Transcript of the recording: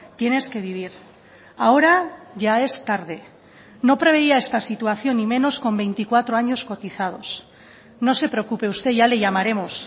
tienes que vivir ahora ya es tarde no preveía esta situación y menos con veinticuatro años cotizados no se preocupe usted ya le llamaremos